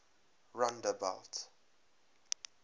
rondebult